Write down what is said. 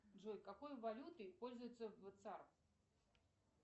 джой какой валютой пользуются в